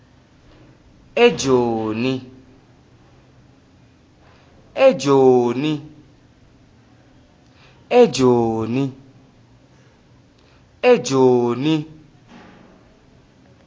ejoni